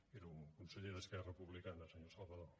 era un conseller d’esquerra republicana senyor salvadó